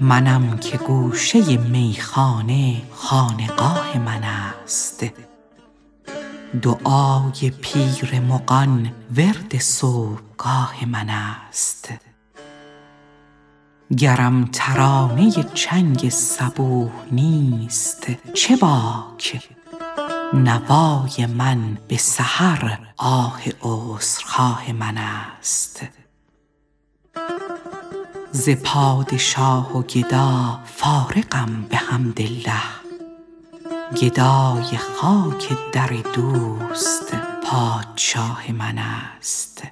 منم که گوشه میخانه خانقاه من است دعای پیر مغان ورد صبحگاه من است گرم ترانه چنگ صبوح نیست چه باک نوای من به سحر آه عذرخواه من است ز پادشاه و گدا فارغم بحمدالله گدای خاک در دوست پادشاه من است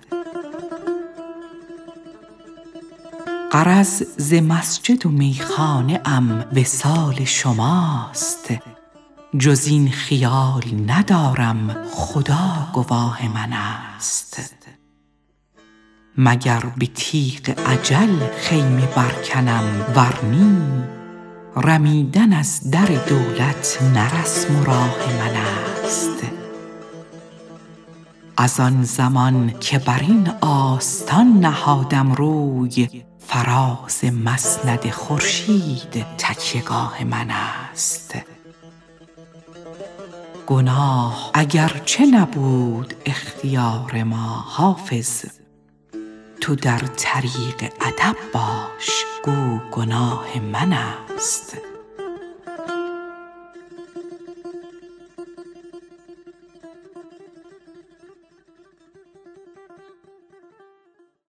غرض ز مسجد و میخانه ام وصال شماست جز این خیال ندارم خدا گواه من است مگر به تیغ اجل خیمه برکنم ور نی رمیدن از در دولت نه رسم و راه من است از آن زمان که بر این آستان نهادم روی فراز مسند خورشید تکیه گاه من است گناه اگرچه نبود اختیار ما حافظ تو در طریق ادب باش گو گناه من است